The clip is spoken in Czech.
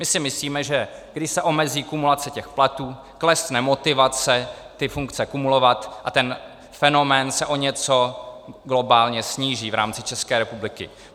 My si myslíme, že když se omezí kumulace těch platů, klesne motivace ty funkce kumulovat a ten fenomén se o něco globálně sníží v rámci České republiky.